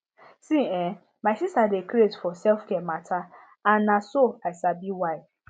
see[um]my sister dey craze for selfcare matter and na so i sabi why